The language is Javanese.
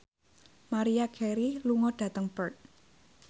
Maria Carey lunga dhateng Perth